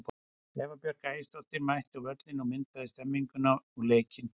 Eva Björk Ægisdóttir mætti á völlinn og myndaði stemmninguna og leikinn.